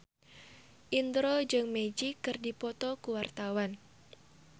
Indro jeung Magic keur dipoto ku wartawan